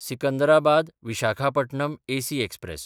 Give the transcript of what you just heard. सिकंदराबाद–विशाखापटणम AC express